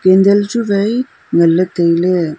candle chu wai ngan ley tai ley.